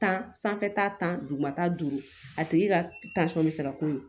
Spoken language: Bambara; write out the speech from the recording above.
Tan sanfɛta tan duguma ta duuru a tigi ka bɛ se ka k'o ye